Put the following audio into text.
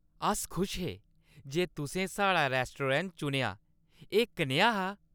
अस खुश हे जे तुसें साढ़ा रैस्तरां चुनेआ। एह् कनेहा हा?